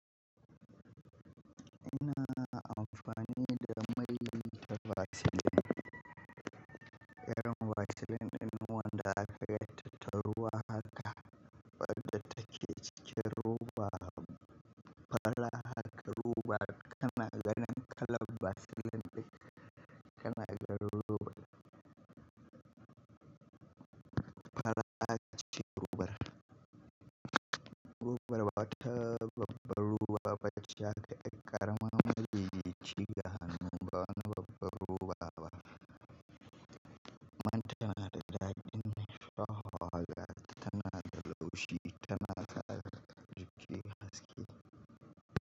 Ina amfani da mai da vaccine. Yaron vaccine in wanda aka yi tattaruwa haka, wanda ta ke cike ruba. Fara haka ruba kanaganin kalan vaccine dai kanagar ruwa. Fara a ci ruwa. Ru bar wata babbar ruba bacci aka yi ƙarama mai yici gahanin ban babbar ruwa ba. Amma tanada daɗin mai shafawa yanzu tana da laushi, tana da al'ajibi haske.